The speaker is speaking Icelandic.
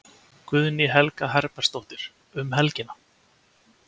Guðný Helga Herbertsdóttir: Um helgina?